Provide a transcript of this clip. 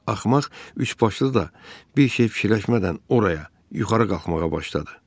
Axmaq üçbaşlı da bir şey fikirləşmədən oraya yuxarı qalxmağa başladı.